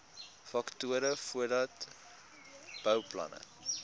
faktore voordat bouplanne